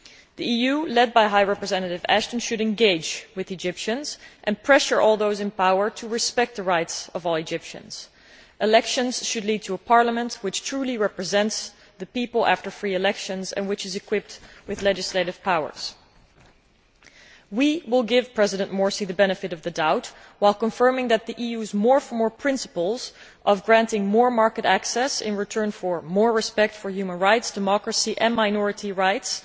The EU, led by Vice President High Representative Ashton, should engage with the Egyptians and pressure all those in power to respect the rights of all Egyptians. Elections should be free and should lead to a parliament which truly represents the people and which is equipped with legislative powers. We will give President Morsi the benefit of the doubt, while confirming that the EU's more for more' principle of granting more market access in return for more respect for human rights, democracy and minority rights